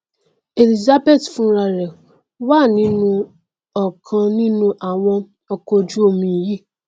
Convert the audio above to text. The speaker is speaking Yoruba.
elizabeth fúnrarẹ wà nínú ọkan nínú àwọn ọkọojúomi yìí